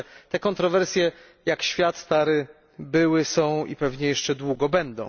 Te kontrowersje, jak świat stary, były, są i pewnie jeszcze długo będą.